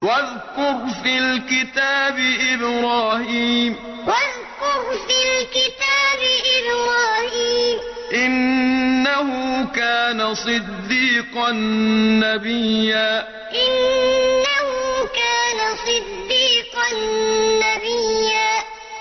وَاذْكُرْ فِي الْكِتَابِ إِبْرَاهِيمَ ۚ إِنَّهُ كَانَ صِدِّيقًا نَّبِيًّا وَاذْكُرْ فِي الْكِتَابِ إِبْرَاهِيمَ ۚ إِنَّهُ كَانَ صِدِّيقًا نَّبِيًّا